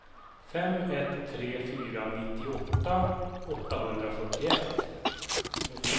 fem ett tre fyra nittioåtta åttahundrafyrtioett